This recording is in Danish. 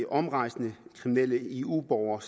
omrejsende kriminelle eu borgere